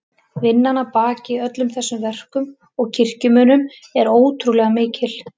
Vinnan að baki öllum þessum verkum og kirkjumunum er ótrúlega mikil.